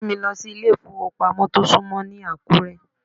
Mú mi lọ sí ilé ìfowópamọ́ tó súnmọ́ ní Àkúré.